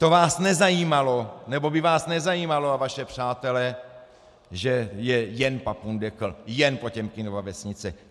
To vás nezajímalo, nebo by vás nezajímalo a vaše přátele, že je jen papundekl, jen Potěmkinova vesnice.